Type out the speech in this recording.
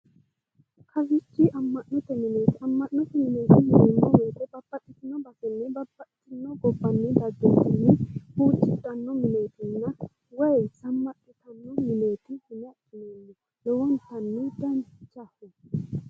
kawiichi amma'note mineeti amma'note mineeti yineemmo woyite babbaxitino basenni babbaxitino gobbanni daggino manni huuccidhanno mineetinna woyi zammadhitanno mineeti yine adhineemmo lowontanni danchaho.